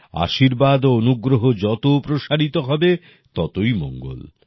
আশীর্বাদ ও অনুগ্রহ যত প্রসারিত হবে ততই মঙ্গল